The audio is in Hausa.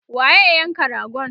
waye ya yanka ragon?